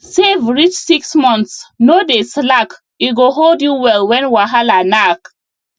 save reach six months no dey slack e go hold you well when wahala knack